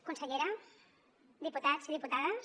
consellera diputats i diputades